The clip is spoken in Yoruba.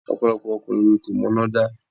Ọ̀pọ̀lọpọ̀ ọkùnrin ni kò mọ iná dá.